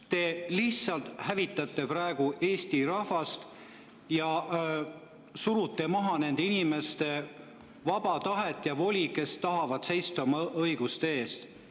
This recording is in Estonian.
Te lihtsalt hävitate praegu Eesti rahvast ja surute maha nende inimeste vaba tahet ja voli, kes tahavad seista oma õiguste eest.